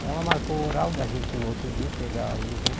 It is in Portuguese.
Aí ela marcou o horário da gente ir no outro dia, pegar o exame.